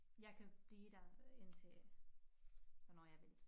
Jeg kan bliver der indtil hvornår jeg vil